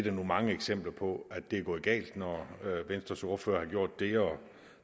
er nu mange eksempler på at det er gået galt når venstres ordfører har gjort det og